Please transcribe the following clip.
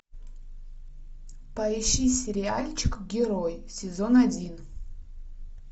поищи сериальчик герой сезон один